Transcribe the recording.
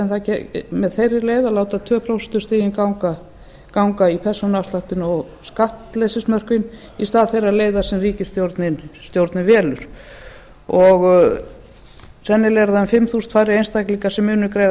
skatt með þeirri leið að láta tvö prósentustigin ganga í persónuafsláttinn og skattleysismörkin í stað þeirrar leiðar sem ríkisstjórnin velur sennilega eru það um fimm þúsund færri einstaklingar sem munu greiða